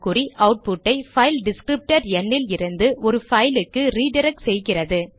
output ஐ file descriptor ந் இலிருந்து ஒரு பைல் க்கு ரிடிரக்ட் செய்கிறது